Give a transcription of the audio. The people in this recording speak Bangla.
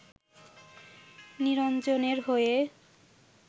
নিরঞ্জনের হয়ে